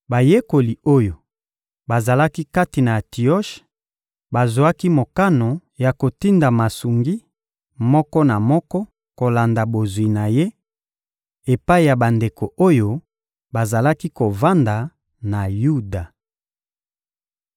Bayekoli oyo bazalaki kati na Antioshe bazwaki mokano ya kotinda masungi, moko na moko kolanda bozwi na ye, epai ya bandeko oyo bazalaki kovanda na Yuda.